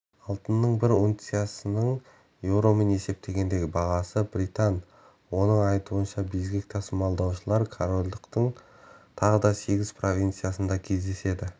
алтынның бір унциясының еуромен есептегендегі бағасы британ оның айтуынша безгек тасымалдаушылар корольдықтың тағы сегіз провинциясында кездеседі